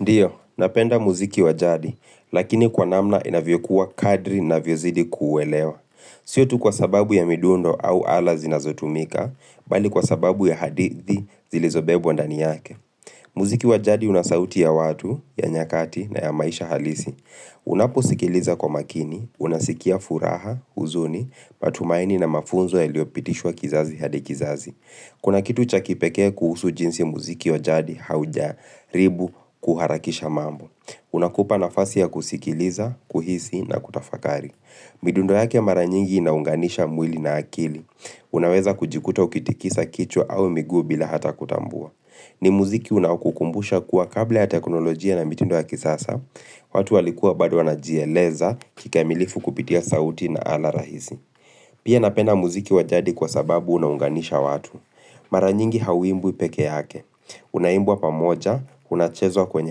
Ndiyo, napenda muziki wa jadi, lakini kwa namna inavyokuwa kadri ninavyozidi kuelewa. Sio tu kwa sababu ya midundo au ala zinazotumika, bali kwa sababu ya hadithi zilizobebwa ndani yake. Muziki wa jadi una sauti ya watu, ya nyakati na ya maisha halisi. Unaposikiliza kwa makini, unasikia furaha, huzuni, matumaini na mafunzo yaliyopitishwa kizazi hadi kizazi. Kuna kitu cha kipekee kuhusu jinsi muziki wa jadi haujaribu kuharakisha mambo. Unakupa nafasi ya kusikiliza, kuhisi na kutafakari. Midundo yake mara nyingi inaunganisha mwili na akili. Unaweza kujikuta ukitikisa kichwa au miguu bila hata kutambua. Ni muziki unaokukumbusha kuwa kabla ya teknolojia na midundo ya kisasa, watu walikuwa bado wanajieleza kikamilifu kupitia sauti na ala rahisi. Pia napenda muziki wa jadi kwa sababu unaunganisha watu. Mara nyingi hauimbwi pekee yake. Unaimbwa pamoja, unachezwa kwenye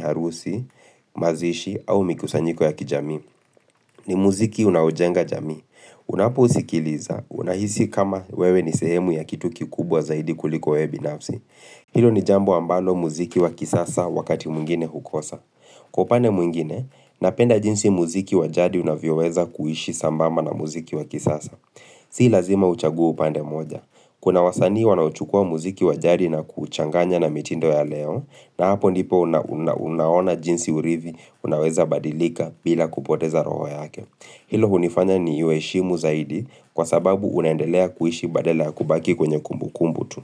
harusi, mazishi au mikusanyiko ya kijamii. Ni muziki unaojenga jamii. Unapousikiliza, unahisi kama wewe ni sehemu ya kitu kikubwa zaidi kuliko wewe binafsi. Hilo ni jambo ambalo muziki wa kisasa wakati mwingine hukosa. Kwa upande mwingine, napenda jinsi muziki wa jadi unavyoweza kuishi sambamba na muziki wa kisasa. Si lazima uchague upande moja. Kuna wasanii wanachukua muziki wajadi na kuuchanganya na mitindo ya leo, na hapo ndipo unaona jinsi urithi unaweza badilika bila kupoteza roho yake. Hilo hunifanya niuheshimu zaidi kwa sababu unaendelea kuishi badala ya kubaki kwenye kumbu kumbu tu.